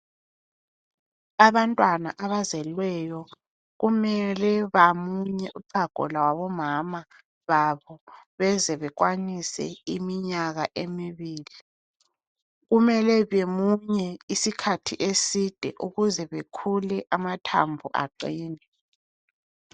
Abantwana abazelweyo kumele bamunye uchago lwabomama babo beze bekwanise iminyaka emibili. Kumele bemunye isikhathi eside ukuze bekhule amathambo aqine.